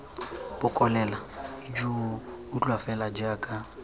bokolela ijoo utlwa fela jaaka